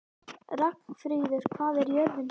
Ragnfríður, hvað er jörðin stór?